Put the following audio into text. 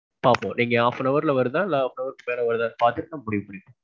பாப்போம் நீங்க half an hour ல வருதா இல்ல half an hour க்கு மேல வருதான்னு பாத்துட்டு நான் முடிவு பண்ணிக்குவோம்.